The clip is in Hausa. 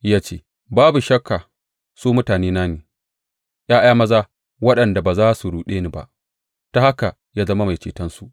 Ya ce, Babu shakka su mutanena ne, ’ya’ya maza waɗanda ba za su ruɗe ni ba; ta haka ya zama Mai Cetonsu.